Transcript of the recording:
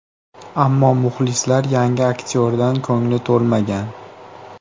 Ammo muxlislar yangi aktyordan ko‘ngli to‘lmagan.